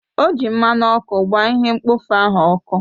O ji mmanụ ọkụ gbaa ihe mkpofu ahụ ọkụ